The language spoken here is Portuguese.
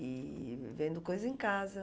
E vendo coisa em casa.